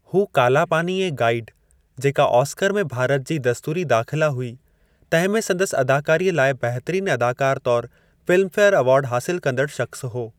हू काला पानी ऐं गाइड, जेका ऑस्कर में भारत जी दस्तूरी दाख़िला हुई, तंहिं में संदसि अदाकारीअ लाइ बहितरीन अदाकारु तौरु फ़िल्मफेयर अवार्डु हासिलु कंदड़ु शख़्सु हो।